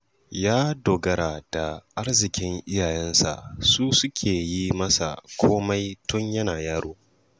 Ya dogara da arzikin iyayensa su suke yi masa komai tun yana yaro